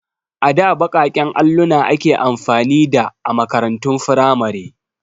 A da baƙaƙen alluna ake amfani da a makarantun firamare.